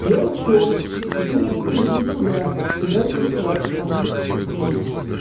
я ушёл теперь они пришли сюда и начали ссориться со мной здесь